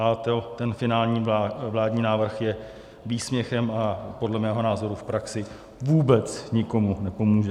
A ten finální vládní návrh je výsměchem a podle mého názoru v praxi vůbec nikomu nepomůže.